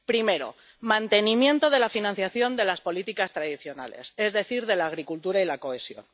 Primer bloque mantenimiento de la financiación de las políticas tradicionales, es decir, de la agricultura y la cohesión.